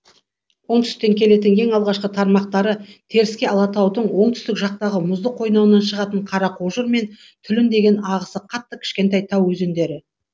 оңтүстіктен келетін ең алғашқы тармақтары теріскей алатаудың оңтүстік жақтағы мұзды қойнауынан шығатын қарақожыр мен түлін деген ағысы қатты кішкентай тау өзендері